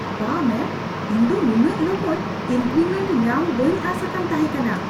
ᱵᱟᱦ, ᱢᱮᱢ ! ᱤᱧ ᱫᱚ ᱱᱩᱱᱟᱹᱜ ᱞᱚᱜᱚᱱ ᱤᱱᱠᱨᱤᱢᱮᱱᱴ ᱧᱟᱢ ᱵᱟᱹᱧ ᱟᱥ ᱟᱠᱟᱱ ᱛᱟᱦᱮᱸ ᱠᱟᱱᱟ !